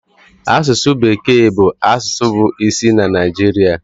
Asụsụ bekee bụ asụsụ bụ isi na Naịjirịa